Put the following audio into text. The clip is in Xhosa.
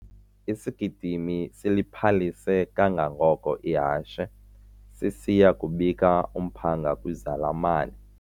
Isigidimi siliphalise kangangoko ihashe sisiya kubika umphanga kwizalamane.